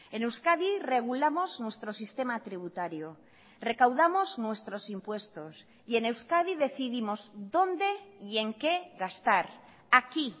en euskadi regulamos nuestro sistema tributario recaudamos nuestros impuestos y en euskadi decidimos dónde y en qué gastar aquí